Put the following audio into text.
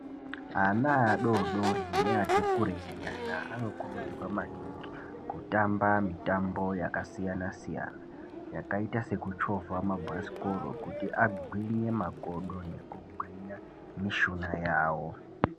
Ana adodori neati kureinyana anokurudzirwa maningi kutamba mitambo yakasiyana-siyana yakaita sekuchovha mabhasikoro kuti agwinye makodo nekugwinya mishuna yavo.